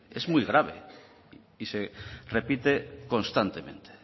es muy grave y se repite constantemente